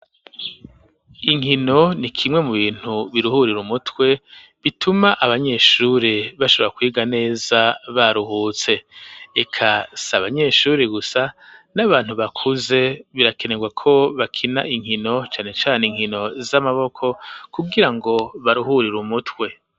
inkino ni kimwe mu bintu biruhurira umutwe bituma abanyeshuri bashobora kwiga neza baruhutse, eka si abanyeshuri gusa n'abantu bakuze birakenerwa ko bakina inkino cane cane inkino z'amaboko kugira ngo baruhurira umutwe.